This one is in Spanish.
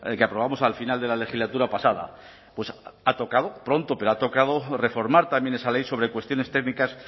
que aprobamos al final de la legislatura pasada pues ha tocado pronto pero ha tocado reformar también esa ley sobre cuestiones técnicas